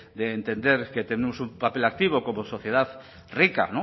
de entender que tenemos un papel activo como sociedad rica